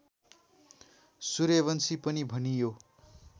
सूर्यवंशी पनि भनियो